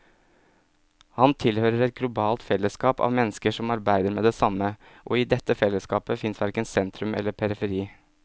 Han tilhører et globalt fellesskap av mennesker som arbeider med det samme, og i dette fellesskapet fins verken sentrum eller periferi.